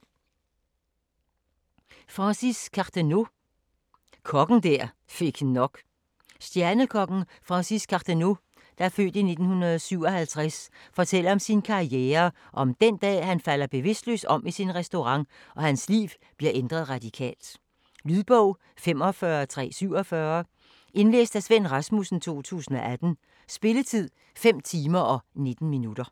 Cardenau, Francis: Kokken der fik nok Stjernekokken Francis Cardenau (f. 1957) fortæller om sin karriere og om den dag, da han falder bevidstløs om i sin restaurant og hans liv bliver ændret radikalt. Lydbog 45347 Indlæst af Svend Rasmussen, 2018. Spilletid: 5 timer, 19 minutter.